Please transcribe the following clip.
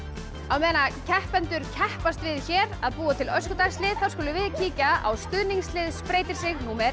meðan keppendur keppast við hér að búa til Öskudagslið þá skulum við kíkja á stuðningslið spreyta sig númer